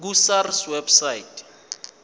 ku sars website